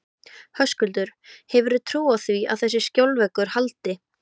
Höskuldur: Hefurðu trú á því að þessi skjólveggur haldi?